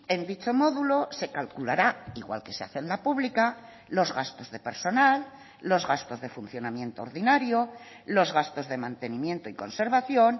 en dicho modulo se calculará igual que se hace en la pública los gastos de personal los gastos de funcionamiento ordinario los gastos de mantenimiento y conservación